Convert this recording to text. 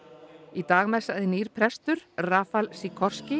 í dag messaði nýr prestur rafal